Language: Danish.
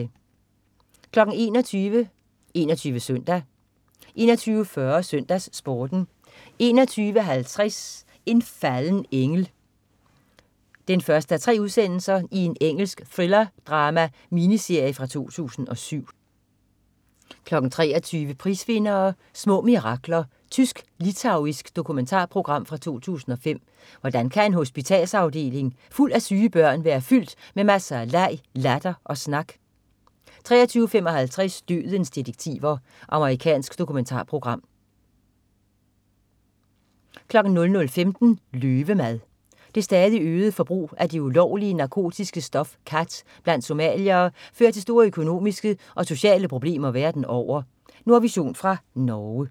21.00 21 SØNDAG 21.40 SøndagsSporten 21.50 En falden engel 1:3. Engelsk thrillerdrama-miniserie fra 2007 23.00 Prisvindere: Små mirakler. Tysk/litauisk dokumentarprogram fra 2005.Hvordan kan en hospitalsafdeling fuld af syge børn være fyldt med masser af leg, latter og snak? 23.55 Dødens detektiver. Amerikansk dokumentarprogram 00.15 Løvemad. Det stadigt øgede forbrug af det ulovlige narkotiske stof khat blandt somaliere fører til store økonomiske og sociale problemer verden over. Nordvision fra Norge